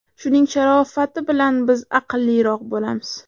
Shuning sharofati bilan biz aqlliroq bo‘lamiz.